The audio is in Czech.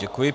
Děkuji.